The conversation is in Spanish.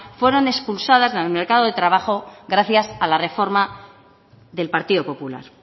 fueron expulsadas del mercado de trabajo gracias a la reforma del partido popular